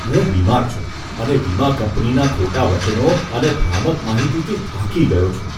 હું બીમાર છું અને વીમા કંપનીના ખોટા વચનો અને ભ્રામક માહિતીથી થાકી ગયો છું.